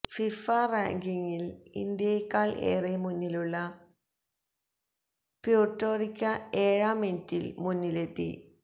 FIFA റാങ്കിംഗില് ഇന്ത്യയെക്കാള് ഏറെ മുന്നിലുള്ള പ്യൂര്ട്ടോറിക്ക ഏഴാം മിനിറ്റില് മുന്നിലെത്തി